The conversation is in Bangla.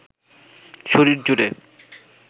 শরীর জুড়ে